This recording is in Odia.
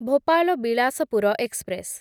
ଭୋପାଲ ବିଳାସପୁର ଏକ୍ସପ୍ରେସ